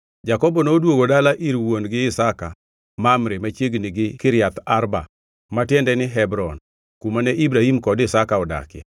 Jakobo noduogo dala ir wuon-gi Isaka Mamre machiegni gi Kiriath Arba (ma tiende ni Hebron), kumane Ibrahim kod Isaka odakie.